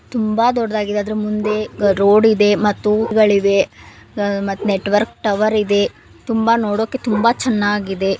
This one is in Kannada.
ತುಂಬಾ ದೊಡ್ಡಾಗಿದೆ ಅದ್ರ ಮುಂದೆ ರೋಡ್ ಇದೇ ಮತ್ತು ಹೂವುಗಳಿವೆ ಮತ್ತ ನೆಟ್ವರ್ಕ್ ಟವರ್ ಇದೆ ತುಂಬಾ ನೋಡಕ್ಕೆ ತುಂಬಾ ಚೆನ್ನಾಗಿದೆ.